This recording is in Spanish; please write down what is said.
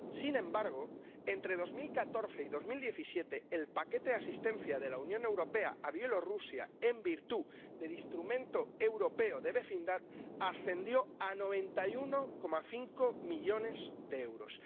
Sin embargo, entre 2014 y 2017 el paquete de asistencia de la Unión Europea a Bielorrusia en virtud del Instrumento Europeo de Vecindad ascendió a 91,5 millones de euros.